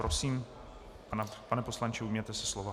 Prosím, pane poslanče, ujměte se slova.